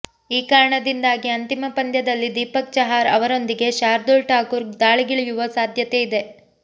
ಈ ಕಾರಣದಿಂದಾಗಿ ಅಂತಿಮ ಪಂದ್ಯದಲ್ಲಿ ದೀಪಕ್ ಚಹಾರ್ ಅವರೊಂದಿಗೆ ಶಾರ್ದೂಲ್ ಠಾಕೂರ್ ದಾಳಿಗಿಳಿಯುವ ಸಾಧ್ಯತೆ ಇದೆ